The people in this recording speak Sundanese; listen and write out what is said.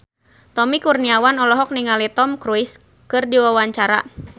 Tommy Kurniawan olohok ningali Tom Cruise keur diwawancara